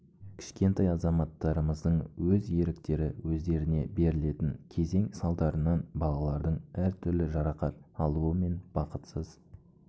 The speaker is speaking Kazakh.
кішкентай азаматтарымыздың өз еріктері өздеріне берілетін кезең салдарынан балалардың әр түрлі жарақат алуы мен бақытсыз